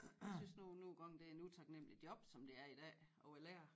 Jeg synes nu nogen gange det er en utaknemmelig job som det er i dag og være lærer